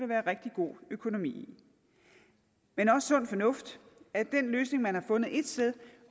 være rigtig god økonomi i men også sund fornuft da den løsning man har fundet et sted